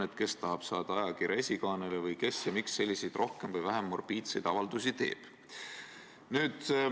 Et kes tahab saada ajakirja esikaanele või kes ja miks selliseid rohkem ja vähem morbiidseid avaldusi teeb.